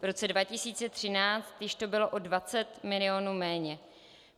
V roce 2013 již to bylo o 20 milionů méně.